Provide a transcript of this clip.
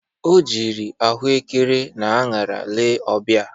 O jiri ahụekere na añara lee ọbia